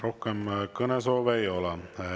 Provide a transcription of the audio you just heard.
Rohkem kõnesoove ei ole.